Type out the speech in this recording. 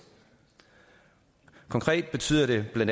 konkret betyder det bla